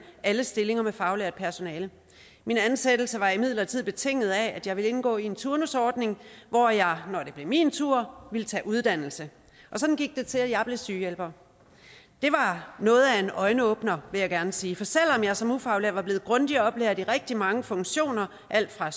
alle stillinger med faglært personale min ansættelse var imidlertid betinget af at jeg ville indgå i en turnusordning hvor jeg når det blev min tur ville tage uddannelse sådan gik det til at jeg blev sygehjælper det var noget af en øjenåbner vil jeg gerne sige for selv om jeg som ufaglært var blevet grundigt oplært i rigtig mange funktioner alt fra